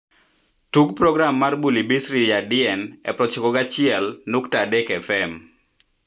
tug program mar bhuli bisri yaadien e proochiko go achiel nukta adek f.m.